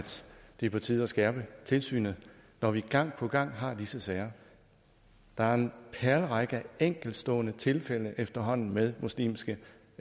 det er på tide at skærpe tilsynet når vi gang på gang har disse sager der er en perlerække af enkeltstående tilfælde efterhånden med muslimske